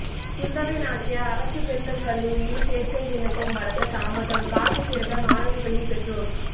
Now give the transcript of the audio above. குந்தவை நாச்சியார் அரசு பெண்கள் கல்லூரியில் சேர்க்கை விண்ணப்பம் வழங்க தாமதம் காத்து கிடந்த மாணவிகளின் பெற்றோர்